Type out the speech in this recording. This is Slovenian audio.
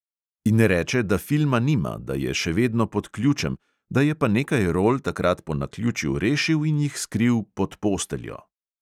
In reče, da filma nima, da je še vedno pod ključem, da je pa nekaj rol takrat po naključju rešil in jih skril "pod posteljo".